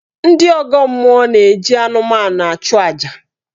Ndị ọgọ mmụọ na-eji anụmanụ achụ aja.